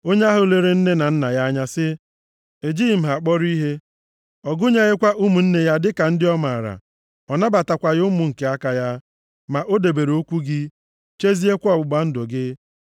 Onye ahụ lere nne na nna ya anya sị, ‘Ejighị m ha kpọrọ ihe.’ Ọ gụnyeghịkwa ụmụnne ya dịka ndị ọ maara, ọ nabatakwaghị ụmụ nke aka ya. Ma o debere okwu gị, cheziekwa ọgbụgba ndụ gị.